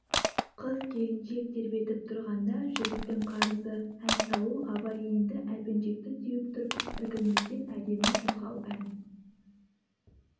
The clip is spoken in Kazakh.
қыз-келіншек тербетіп тұрғанда жігіттің қарызы ән салу абай енді әлпеншекті теуіп тұрып іркілместен әдемі шырқау ән